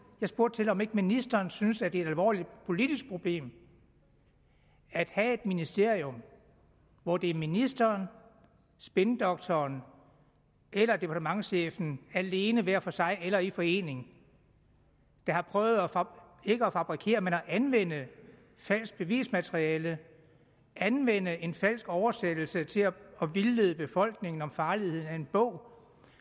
jeg spurgte om ikke ministeren synes at det er et alvorligt politisk problem at have et ministerium hvor det er ministeren spindoktoren eller departementschefen alene hver for sig eller i forening der har prøvet ikke at fabrikere men at anvende falsk bevismateriale anvende en falsk oversættelse til at vildlede befolkningen om farligheden af en bog